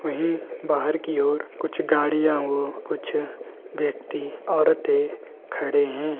वहीं बाहर की ओर कुछ गाड़ियाँ औ कुछ व्यक्ति ओरतें खड़े हैं।